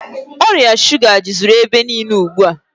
Ọrịa shuga jụziri ebe niile ugbu a.